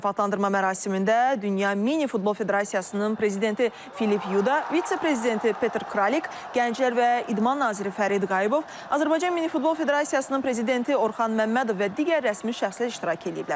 Mükafatlandırma mərasimində dünya minifutbol Federasiyasının prezidenti Filip Yuda, vitse-prezidenti Peter Kralik, Gənclər və İdman naziri Fərid Qayıbov, Azərbaycan Minifutbol Federasiyasının prezidenti Orxan Məmmədov və digər rəsmi şəxslər iştirak eləyiblər.